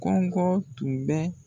Kɔngɔ tun bɛ.